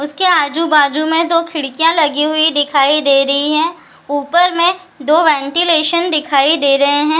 उसके आजु-बाजु में दो खिड़कियाँ लगी हुई दिखाई दे रही हैं ऊपर में दो वेंटीलेशन दिखाई दे रहे हैं।